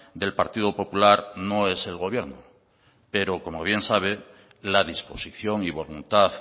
del partido popular no es el gobierno pero como bien sabe la disposición y voluntad